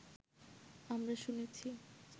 আমরা শুনেছি